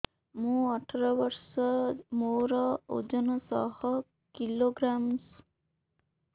ମୁଁ ଅଠର ବର୍ଷ ମୋର ଓଜନ ଶହ କିଲୋଗ୍ରାମସ